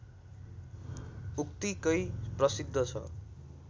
उत्तिकै प्रसिद्ध छ